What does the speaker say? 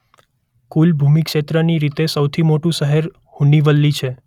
કુલ ભૂમિ ક્ષેત્રની રીતે સૌથી મોટું શહેર હુન્નીવલી છે.